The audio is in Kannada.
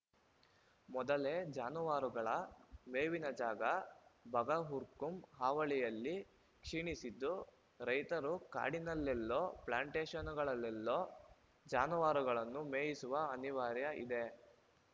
ಮೊದಲೇ ಜಾನುವಾರುಗಳ ಮೇವಿನ ಜಾಗ ಬಗರ್‌ಹುಕುಂ ಹಾವಳಿಯಲ್ಲಿ ಕ್ಷೀಣಿಸಿದ್ದು ರೈತರು ಕಾಡಿನಲ್ಲೆಲ್ಲೋ ಪ್ಲಾಂಟೇಶನ್‌ಗಳಲ್ಲೆಲ್ಲೋ ಜಾನುವಾರುಗಳನ್ನು ಮೇಯಿಸುವ ಅನಿವಾರ್ಯತೆ ಇದೆ